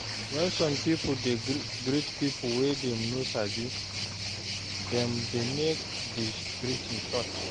When some pipo dey greet pipo wey dem no sabi, dem dey make di greeting short